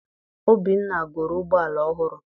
Obinna goro ụgbọala ọhụrụ.